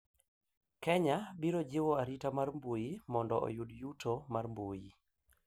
Kenya biro jiwo arita mar mbui mondo oyud yuto mar mbui